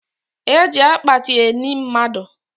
E ji akpati eni mmadụ